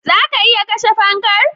Zaka iya kashe fankar